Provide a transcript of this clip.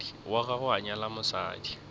wa gagwe a nyala mosadi